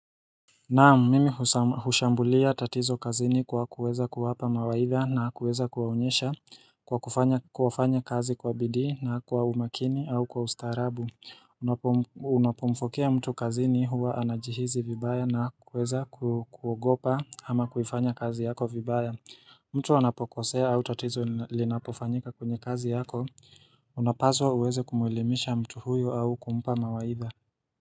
Naam, mimi hushambulia tatizo kazini kwa kuweza kuwapa mawaidha na kuweza kuwaonyesha kwa kufanya kazi kwa bidii na kwa umakini au kwa ustaarabu Unapomfokea mtu kazini huwa anajihisi vibaya na kuweza kuogopa ama kufanya kazi yako vibaya mtu wanapokosea au tatizo linapofanyika kwenye kazi yako unapaswa uweze kumuelimisha mtu huyo au kumpa mawaidha.